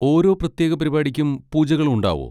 ഓരോ പ്രത്യേക പരിപാടിക്കും പൂജകളും ഉണ്ടാവോ?